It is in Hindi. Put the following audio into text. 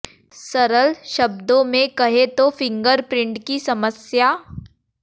सरल शब्दों में कहें तो फिंगर प्रिंट की समस्या